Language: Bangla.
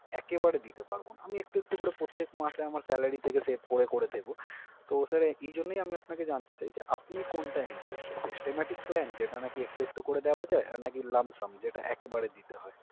একেবারে দিতে পারবো না। আমি একটু একটু করে প্রত্যেক মাসে আমার salary থেকে save করে করে দেবো। তো sir এই জন্যই আমি আপনাকে জানতে চাই যে আপনি কোনটায় interested Systematic plan যেটা নাকি একটু একটু করে দেওয়া যায়, আর নাকি Lump sum যেটা একেবারে দিতে হয়?